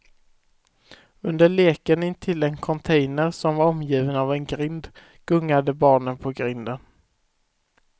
Under leken intill en container som var omgiven av en grind gungade barnen på grinden.